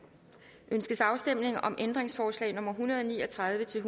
ønskes afstemning om ændringsforslag nummer en hundrede og ni og tredive til